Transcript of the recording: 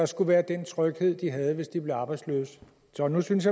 skulle være den tryghed de havde hvis de blev arbejdsløse så nu synes